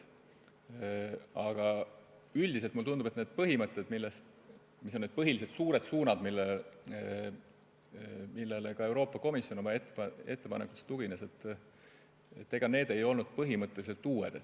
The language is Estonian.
Aga üldiselt mulle tundub, et põhimõtted, millised on need põhilised suured suunad, millele ka Euroopa Komisjon oma ettepanekus tugines, ei olnud põhimõtteliselt uued.